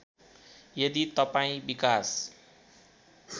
यदि तपाईँ विकास